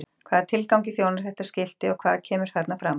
Hvaða tilgangi þjónar þetta skilti og hvað kemur þarna fram?